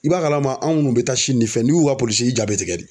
I b'a kalama an munnu be Sini ni fɛn n'i y'u ka polisi ye i ja bi tigɛ de